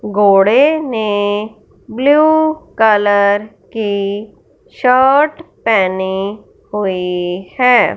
घोड़े ने blue colour की शर्ट पेहनी हुए हैं।